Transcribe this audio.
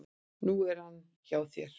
Nú er hann hjá þér.